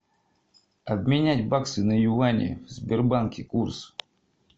обменять баксы на юани в сбербанке курс